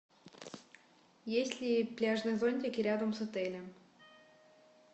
есть ли пляжные зонтики рядом с отелем